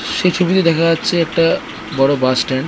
সেই ছবিতে দেখা যাচ্ছে একটা বড়ো বাস স্ট্যান্ড ।